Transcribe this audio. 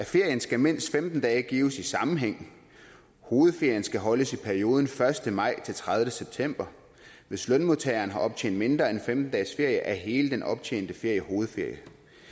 ferien skal mindst femten dage gives i sammenhæng hovedferien skal holdes i perioden første maj til tredivete september hvis lønmodtageren har optjent mindre end femten dages ferie er hele den optjente ferie hovedferie